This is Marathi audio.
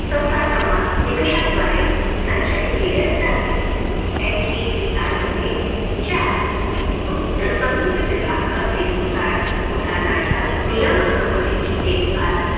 चौथा सन्मान निकषाद्वारे संचालिका केल्या जातील. HECI मध्ये चार उच्च स्वतंत्र विभाग असतील उदा उदाहरणार्थ, नियम चौकटीची देखभाल